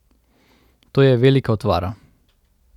To je velika utvara.